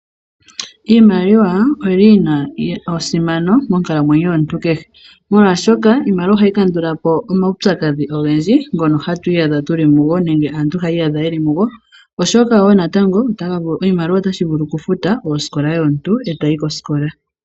Iimaliwa oyili yina esimano monkalamwenyo yo muntu kehe molwaashoka iimaliwa oha yi kandulapo oma wupyakadhi ogendji ngono ha tu iyadha tu li mugo, oshoka woo natango oshimaliwa otashi vulu okufuta omuntu ndele ta yi kosikola.